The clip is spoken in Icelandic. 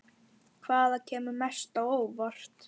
Hvaða kemur mest á óvart?